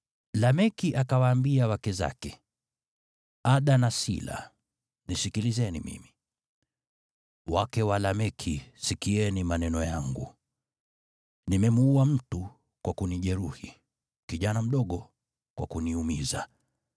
Lameki akawaambia wake zake, “Ada na Sila nisikilizeni mimi; wake wa Lameki sikieni maneno yangu. Nimemuua mtu kwa kunijeruhi, kijana mdogo kwa kuniumiza.